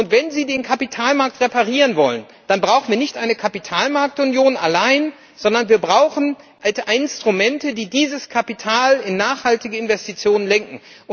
Wenn Sie den Kapitalmarkt reparieren wollen, dann brauchen wir nicht eine Kapitalmarktunion allein, sondern wir brauchen Instrumente, die dieses Kapital in nachhaltige Investitionen lenken.